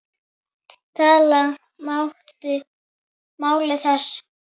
Tala máli þess?